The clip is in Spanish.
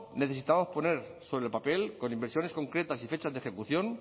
necesitamos poner sobre el papel con inversiones concretas y fechas de ejecución